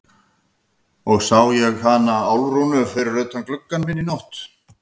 Og ég sá hana Álfrúnu fyrir utan gluggann minn í nótt.